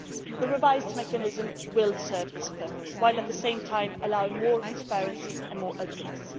The revised mechanism will serve this purpose, while at the same time allowing more transparency and openness.